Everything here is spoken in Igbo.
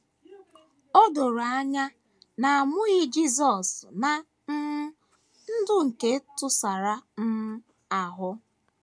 O doro anya na a mụghị Jisọs ná um ndụ nke ntụsara um ahụ.